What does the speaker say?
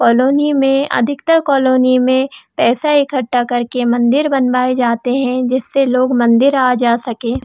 Colony में अधिकतर colony में पैसा इकट्ठा करके मंदिर बनवा जाते है जिससे अधिकतर लोग मंदिर आ जा सके।